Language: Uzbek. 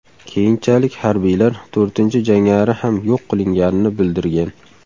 Keyinchalik harbiylar to‘rtinchi jangari ham yo‘q qilinganini bildirgan.